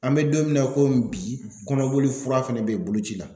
An bɛ don min na komi bi kɔnɔboli fura fɛnɛ be boloci la.